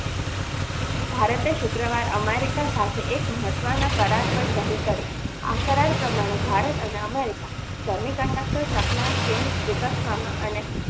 ભારતે શુક્રવારે America સાથે એક મહત્વના કરાર પર સહી કરી આ કરાર પ્રમાણે ભારત અને America semiconductor supply ચેન વિકસાવવામાં અને